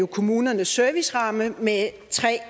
kommunernes serviceramme med tre